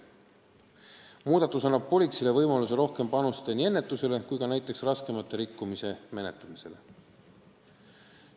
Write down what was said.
Muudatus annab politseile võimaluse rohkem tegelda nii ennetusega kui ka näiteks raskemate rikkumiste menetlemisega.